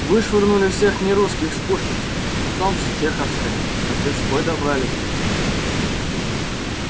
вышвырнули всех нерусских с пушкинской потом с чеховской до тверской добрались